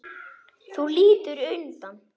Þú lítur undan.